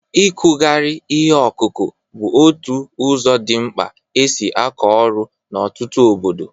Ịkụgharị ihe akụkụ bụ otu ụzọ dị mkpa e si akọ ọrụ n'ọtụtụ obodo.